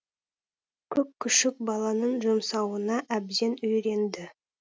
көк күшік баланың жұмсауына әбден үйренді